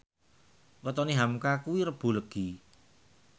wetone hamka kuwi Rebo Legi